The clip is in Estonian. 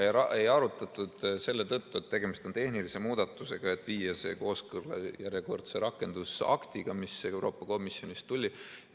Ja ei arutatud selle tõttu, et tegemist on tehnilise muudatusega, et viia see kooskõlla järjekordse rakendusaktiga, mis Euroopa Komisjonist tuli.